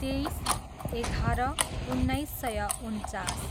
तेइस, एघार, उन्नाइस सय उन्चास